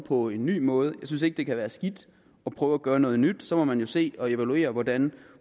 på en ny måde jeg synes ikke det kan være skidt at prøve at gøre noget nyt så må man jo se på og evaluere hvordan